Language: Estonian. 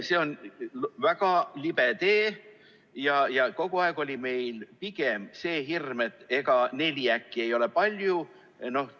See on väga libe tee ja kogu aeg oli meil pigem see hirm, et ega neli ei ole äkki palju.